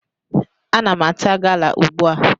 Ana m ata gala ugbu a.